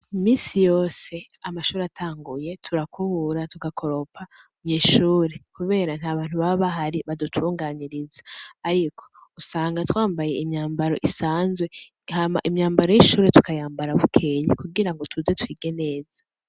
Iminsi yose, amashure atanguye, turakubura, tugakoropa mw'ishure; kubera ntabantu baba bahari badutunganiriza; ariko usanga twambaye imyambaro isanzwe, hama imyambaro y'ishure tukayambara bukeye kugirango tuze twige neza.